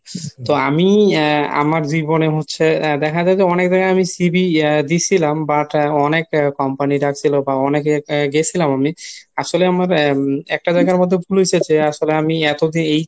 তো আমি আমার জীবনে হচ্ছে দেখা যায় অনেক জায়গায় আমি CV দিসিলাম বা অনেক company ডাকছিলো বা অনেকেই গেসিলাম আমি। আসলে আমার একটা জায়গার মধ্যে ভুল হইসে যে আসলে আমি এতদিন